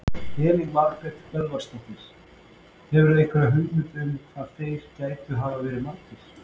Elín Margrét Böðvarsdóttir: Hefurðu einhverja hugmynd um hvað þeir gætu hafa verið margir?